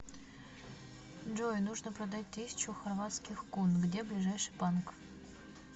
джой нужно продать тысячу хорватских кун где ближайший банк